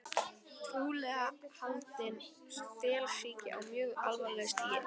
Trúlega haldinn stelsýki á mjög alvarlegu stigi.